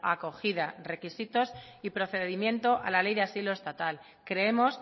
acogida requisitos y procedimiento a la ley de asilo estatal creemos